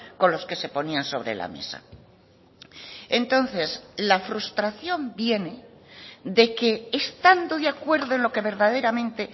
con los que se ponían sobre la mesa entonces la frustración viene de que estando de acuerdo en lo que verdaderamente